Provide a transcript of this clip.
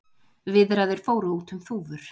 Viðræður fóru út um þúfur